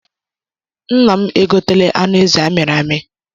Nna m e gotela anụ ezi amịrị amị.